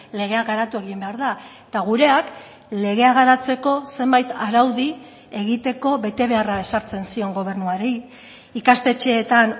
legea garatu egin behar da eta gureak legea garatzeko zenbait araudi egiteko betebeharra ezartzen zion gobernuari ikastetxeetan